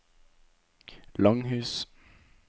Langhus